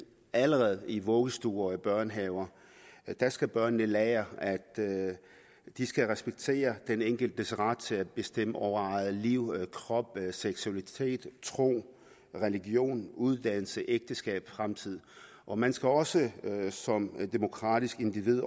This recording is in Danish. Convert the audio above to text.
allerede i vuggestuer og i børnehaver der skal børnene lære at de skal respektere den enkeltes ret til at bestemme over eget liv krop seksualitet tro religion uddannelse ægteskab fremtid og man skal også som demokratisk individ